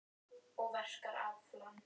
Nú, segir hún eftir örstutta þögn.